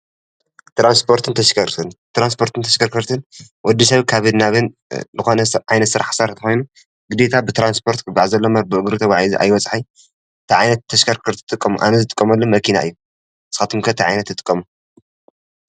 ትራንስፖርትን ተሽከልከርትን ትራንስፖርት ተሽከርከርትን ወድ ሰብ ካብን ናብን ዝኮነ ዓይነት ስራሕ ክሰርሕ ተኮይኑ ብዘይካ ብትራንስፖርት ክጎዓዝ አለዎ እምበር ብእግሩ ትጓዒዙ አይበፅሖን እንታይ ዓይነት ተሽከርከርቲ ትጥቀሙ አነ ዝጥቀመሉ መኪና እዩ። ንስካትኩም ከ እንታይ ዓይነት ትጥቀሙ?